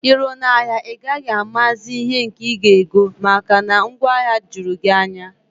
Iruo na ahịa a, ị gaghị amazi ihe nke ị ga ego, maka na ngwaahịa jụrụ gị anya